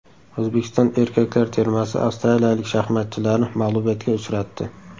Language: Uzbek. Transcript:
O‘zbekiston erkaklar termasi avstraliyalik shaxmatchilarni mag‘lubiyatga uchratdi.